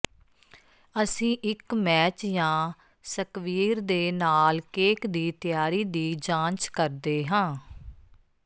ਅਸੀਂ ਇਕ ਮੈਚ ਜਾਂ ਸਕਵੀਰ ਦੇ ਨਾਲ ਕੇਕ ਦੀ ਤਿਆਰੀ ਦੀ ਜਾਂਚ ਕਰਦੇ ਹਾਂ